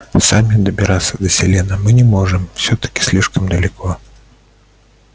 сами добираться до селена мы не можем всё-таки слишком далеко